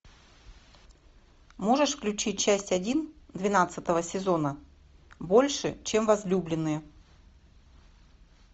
можешь включить часть один двенадцатого сезона больше чем возлюбленные